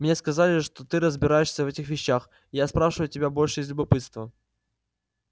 мне сказали что ты разбираешься в этих вещах и я спрашиваю тебя больше из любопытства